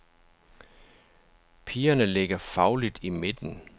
Pigerne ligger fagligt i midten.